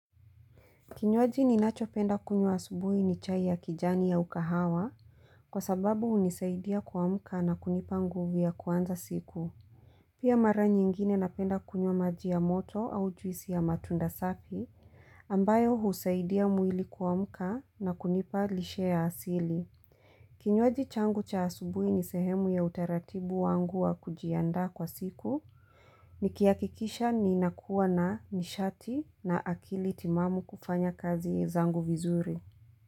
Kinywaji ninachopenda kunywa asubuhi ni chai ya kijani au kahawa kwa sababu hunisaidia kuamka na kunipa nguvu ya kuanza siku. Pia mara nyingine napenda kunywa maji ya moto au juisi ya matunda safi ambayo husaidia mwili kuamka na kunipa lishe ya asili. Kinywaji changu cha asubuhi ni sehemu ya utaratibu wangu wa kujiandaa kwa siku nikihakikisha ninakuwa na nishati na akili timamu kufanya kazi zangu vizuri.